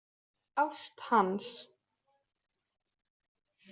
Ást hans.